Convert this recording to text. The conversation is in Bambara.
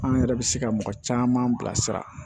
An yɛrɛ bɛ se ka mɔgɔ caman bila sira